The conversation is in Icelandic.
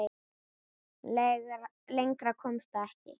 Lengra komst það ekki.